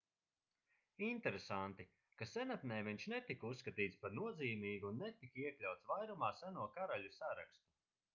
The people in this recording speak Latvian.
interesanti ka senatnē viņš netika uzskatīts par nozīmīgu un netika iekļauts vairumā seno karaļu sarakstu